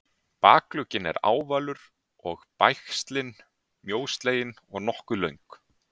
bakugginn er ávalur og bægslin mjóslegin og nokkuð löng